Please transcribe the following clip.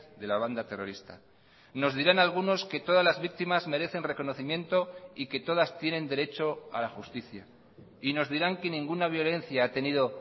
de la banda terrorista nos dirán algunos que todas las víctimas merecen reconocimiento y que todas tienen derecho a la justicia y nos dirán que ninguna violencia ha tenido